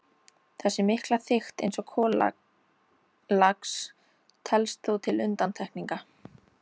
Þessi mikla þykkt eins kolalags telst þó til undantekninga.